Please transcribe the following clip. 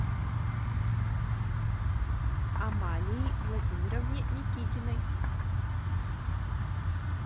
амалии владимировне никитиной